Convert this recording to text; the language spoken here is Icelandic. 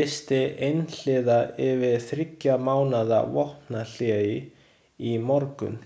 lýsti einhliða yfir þriggja mánaða vopnahléi í morgun.